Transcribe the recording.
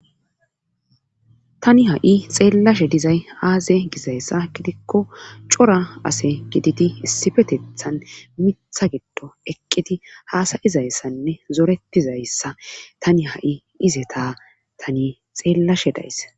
Tani ha'i xeellashe dizay aaze gizayssa gidikko cora ase gididi issifetethan mitha giddo eqqiti haasayizayssanne zoretizayssa tani ha'i ize taa tani xeellashe days